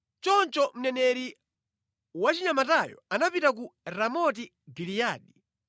Choncho mneneri wachinyamatayo anapita ku Ramoti Giliyadi.